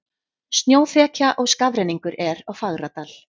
Snjóþekja og skafrenningur er á Fagradal